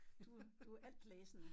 Du du er altlæsende